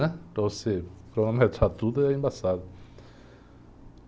Né? Para você cronometrar tudo é embaçado.